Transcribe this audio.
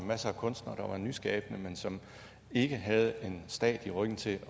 masser af kunstnere der var nyskabende men som ikke havde en stat i ryggen til